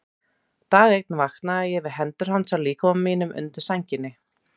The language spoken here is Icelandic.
Dag einn vaknaði ég við hendur hans á líkama mínum undir sænginni.